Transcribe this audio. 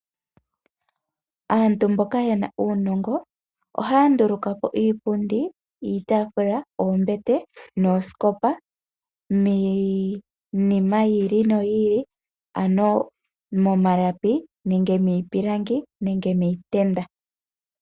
Aantu mboka yena uunongo, ohaya ndulukapo iipundi, iitaafula, oombete, nuusikopa, miinima yi ili noyi ili, ano momalapi, miipilangi, nenge miitenda.